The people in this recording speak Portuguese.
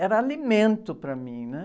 Era alimento para mim, né?